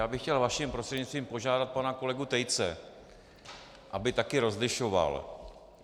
Já bych chtěl vaším prostřednictvím požádat pana kolegu Tejce, aby také rozlišoval.